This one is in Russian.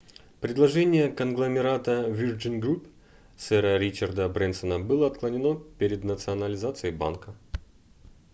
предложение конгломерата virgin group сэра ричарда брэнсона было отклонено перед национализацией банка